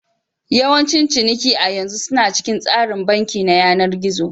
Yawancin ciniki a yanzu suna cikin tsarin banki na yanar gizo.